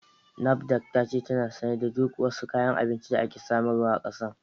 NAFDAC ta ce tana sane da duk wasu kayan abinci da ake samarwa a ƙasar